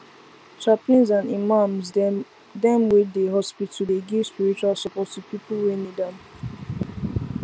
chaplains and imams dem wey dey hospital dey give spiritual support to people wey need am